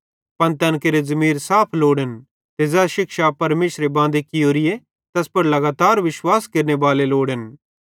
पन तैन केरे ज़मीर साफ लोड़न ते ज़ै शिक्षा परमेशरे बांदी कियोरीए तैस पुड़ लगातार विश्वास केरनेबाले लोड़न